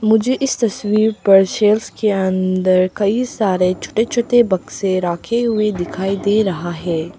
मुझे इस तस्वीर पर के अंदर कई सारे छोटे छोटे बक्से रखे हुए दिखाई दे रहा है।